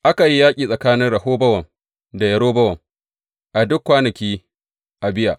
Aka yi yaƙi tsakanin Rehobowam da Yerobowam a duk kwanakin Abiya.